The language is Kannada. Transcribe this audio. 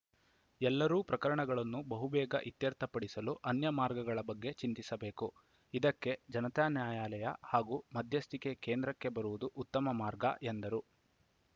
ಎಲ್ಲರೂ ಪ್ರಕರಣಗಳನ್ನು ಬಹುಬೇಗ ಇತ್ಯರ್ಥ ಪಡಿಸಲು ಅನ್ಯ ಮಾರ್ಗಗಳ ಬಗ್ಗೆ ಚಿಂತಿಸಬೇಕು ಇದಕ್ಕೆ ಜನತಾ ನ್ಯಾಯಾಲಯ ಹಾಗೂ ಮಧ್ಯಸ್ಥಿಕೆ ಕೇಂದ್ರಕ್ಕೆ ಬರುವುದು ಉತ್ತಮ ಮಾರ್ಗ ಎಂದರು